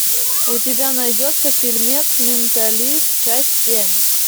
у тебя найдется фильмец менталист часть семь